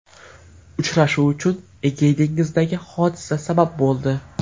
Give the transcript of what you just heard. Uchrashuv uchun Egey dengizidagi hodisa sabab bo‘ldi.